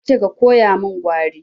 Na ce koya min Gwari!